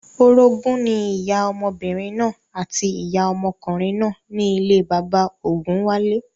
Orogún ní ìyá ọmọbìnrin náà àti ìyá ọmọkùnrin náà ní ilé bàbá ògúnwálé